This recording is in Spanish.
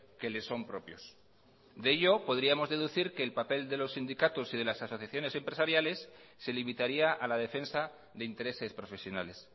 que les son propios de ello podríamos deducir que el papel de los sindicatos y de las asociaciones empresariales se limitaría a la defensa de intereses profesionales